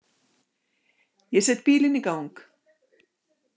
Ég set bílinn í gang.